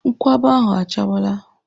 Nkwụaba ahụ achawala.